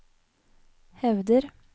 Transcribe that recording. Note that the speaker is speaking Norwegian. hevder